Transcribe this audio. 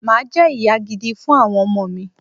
Mà á jẹ́ ìyá gidi fún àwọn ọmọ mi